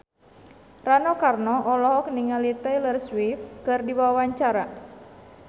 Rano Karno olohok ningali Taylor Swift keur diwawancara